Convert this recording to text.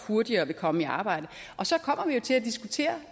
hurtigere vil komme i arbejde og så kommer vi jo til at diskutere